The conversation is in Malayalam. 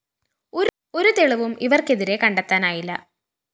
ഒരു തെളിവും ഇവര്‍ക്കെതിരേ കണ്ടെത്തനായില്ല